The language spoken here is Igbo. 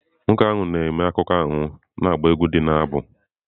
Nwoke ahụ na-eme akụkọ ahụ na-agba egwú ndị ha na-abụ.